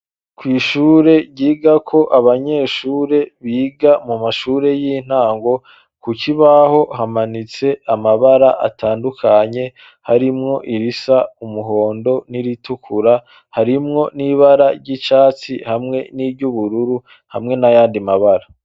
Kw'ishure ryigako abanyeshure biga mu mashure y'intango ku kibaho hamanitse amabara atandukanye harimwo irisa umuhondo n'iritukura harimwo n'ibara ry'icatsi hamwe n'iryubururu hamwe n'ayandi mabara.